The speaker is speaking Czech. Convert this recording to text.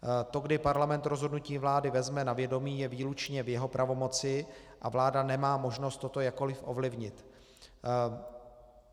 To, kdy Parlament rozhodnutí vlády vezme na vědomí, je výlučně v jeho pravomoci a vláda nemá možnost toto jakkoli ovlivnit.